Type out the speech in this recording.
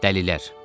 Dəlilər.